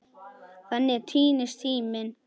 Þannig týnist tíminn.